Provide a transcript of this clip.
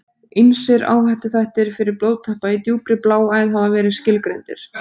Ýmsir áhættuþættir fyrir blóðtappa í djúpri bláæð hafa verið skilgreindir.